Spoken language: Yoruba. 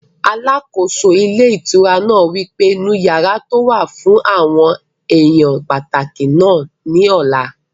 Alákóso ilé ìtura náà wí pé, "nu yàrá tó wà fún àwọn èèyàn pàtàkì náà ní ọ̀la